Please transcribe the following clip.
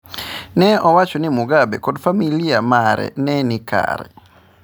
Ne owacho ni Mugabe kod familia mare ne ni kare.